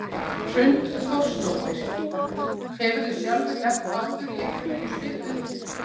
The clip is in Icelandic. Hrund Þórsdóttir: Hefurðu sjálfur lent áður í einhverju svipuðu?